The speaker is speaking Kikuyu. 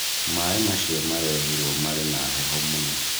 Maaĩ macio marehĩrwo marĩ na heho mũno